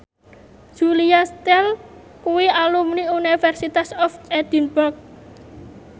Julia Stiles kuwi alumni University of Edinburgh